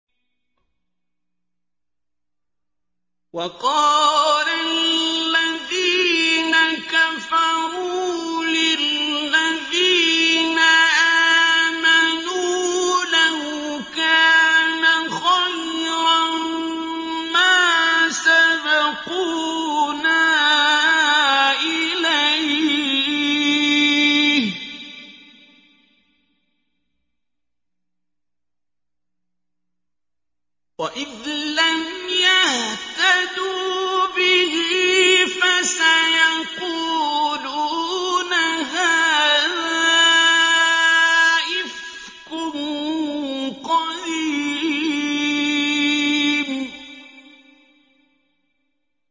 وَقَالَ الَّذِينَ كَفَرُوا لِلَّذِينَ آمَنُوا لَوْ كَانَ خَيْرًا مَّا سَبَقُونَا إِلَيْهِ ۚ وَإِذْ لَمْ يَهْتَدُوا بِهِ فَسَيَقُولُونَ هَٰذَا إِفْكٌ قَدِيمٌ